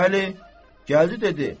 Bəli, gəldi dedi.